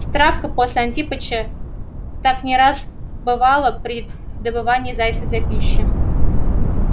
с травкой после антипыча так не раз бывало при добывании зайца для пищи